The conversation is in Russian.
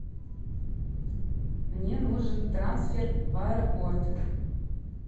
мне нужен трансфер в аэропорт